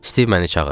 Stiv məni çağırdı.